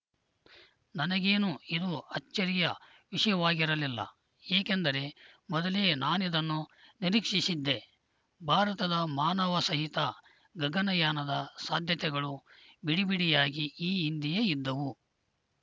ನನಗೇನೂ ಇದು ಅಚ್ಚರಿಯ ವಿಷಯವಾಗಿರಲಿಲ್ಲ ಏಕೆಂದರೆ ಮೊದಲೇ ನಾನಿದನ್ನು ನಿರೀಕ್ಷಿಸಿದ್ದೆ ಭಾರತದ ಮಾನವಸಹಿತ ಗಗನಯಾನದ ಸಾಧ್ಯತೆಗಳು ಬಿಡಿಬಿಡಿಯಾಗಿ ಈ ಹಿಂದೆಯೇ ಇದ್ದವು